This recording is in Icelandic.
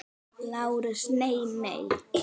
LÁRUS: Nei, nei!